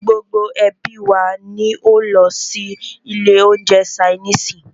Gbogbo ẹ́bí wa ní o lọ sí ilé oúnjẹ ṣainiisi.